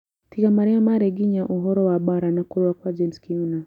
Tiga marĩa mari nginya ũhoro wa mbaara na kũrũa kwa James Kiuna